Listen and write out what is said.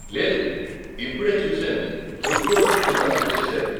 లేదు, ఇప్పుడే చూసాను, ఫుడ్ కోర్ట్లు కూడా మూసేశారు.